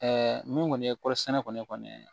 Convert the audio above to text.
min kɔni ye kɔɔrisɛnɛ kɔni ye